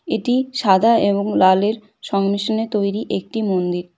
এটি সাদা এবং লালের সংমিশ্রণে তৈরি একটি মন্দির।